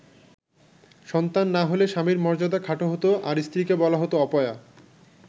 সন্তান না হলে স্বামীর মর্যাদা খাটো হতো আর স্ত্রীকে বলা হতো অপয়া।